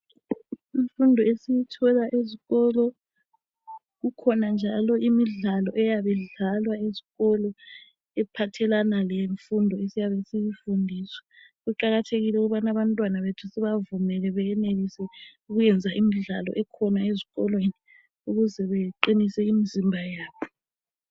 Imfundo esiyithola ezikolo kukhona njalo imidlalo eyabe idlalwa ezikolo iphathelana lemfundo esiyabe siyifundiswa. Kuqakathekile ukubana abantwana bethu sibavumele beyenelise ukuyenza imidlalo ekhona ezikolweni ukuze beqinise imizimba yabo.